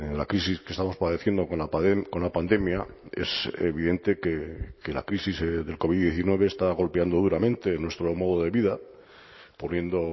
la crisis que estamos padeciendo con la pandemia es evidente que la crisis del covid diecinueve está golpeando duramente en nuestro modo de vida poniendo